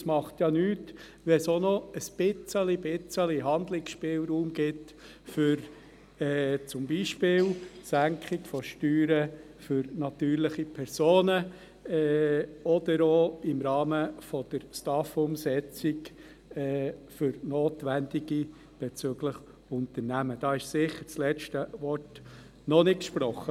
Und es macht ja nichts, wenn es auch ein ganz klein wenig Handlungsspielraum gibt, zum Beispiel für die Senkung der Steuern für natürliche Personen oder auch im Rahmen der Umsetzung des Bundesgesetzes über die Steuerreform und die AHV-Finanzierung (STAF), wenn notwendig für Unternehmen.